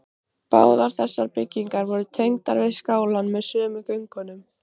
Báðar þessar byggingar voru tengdar við skálann með sömu göngunum.